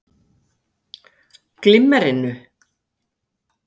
Hafsteinn Hauksson: Glimmerinu?